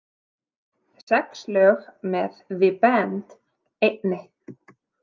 Sex lög með The Band einni.